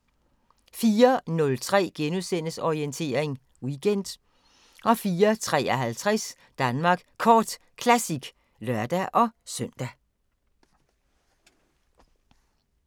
04:03: Orientering Weekend * 04:53: Danmark Kort Classic (lør-søn)